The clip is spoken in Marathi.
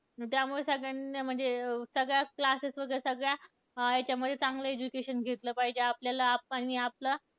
त्यामुळे सगळ्या म्हणजे सगळ्याच classes मध्ये सगळ्या, याच्यामध्ये चांगलं education घेतलं पाहिजे, आपल्याला आप आपल्या